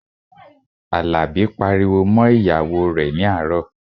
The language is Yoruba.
Àlàbí pariwo mọ́ ìyàwó rẹ̀ ní àárọ̀